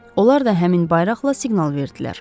Onlar da həmin bayraqla siqnal verdilər.